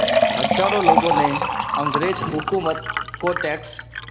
हज़ारों लोगों ने अंग्रेज़ हुकूमत को टैक्स